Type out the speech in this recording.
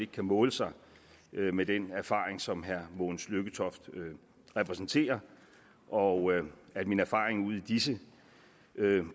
kan måle sig med den erfaring som herre mogens lykketoft repræsenterer og at min erfaring ud i disse